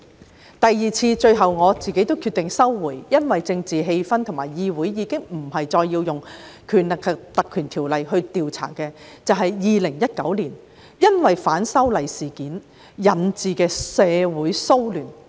在第二次，我最後決定撤回預告，因為政治氣氛和議會已經不再需要動用《條例》調查2019年反修例事件引致的社會騷亂。